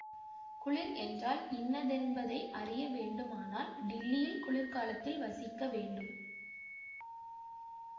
குளிர் என்றால் இன்னதென்பதை அறிய வேண்டுமானால் டில்லியில் குளிர்காலத்தில் வசிக்க வேண்டும்